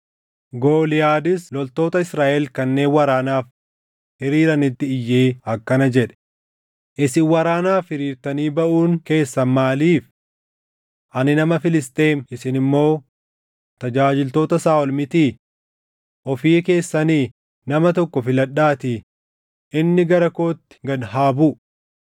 Gooliyaadis loltoota Israaʼel kanneen waraanaaf hiriiranitti iyyee akkana jedhe; “Isin waraanaaf hiriirtanii baʼuun keessan maaliif? Ani nama Filisxeem, isin immoo tajaajiltoota Saaʼol mitii? Ofii keessanii nama tokko filadhaatii inni gara kootti gad haa buʼu.